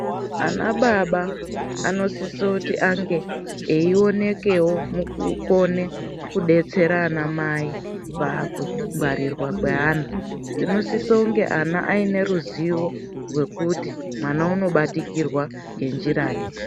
Anababa anosise kuti ange eionekewo mukukone kudetsera anamai pakungwarirwa kweana. Tinosise kunge ana aiine ruzivo rwekuti mwana unobatikirwa ngenjirai.